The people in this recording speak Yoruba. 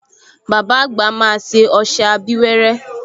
Bàbá àgbà máa ṣe ọṣẹ abíwẹ́rẹ́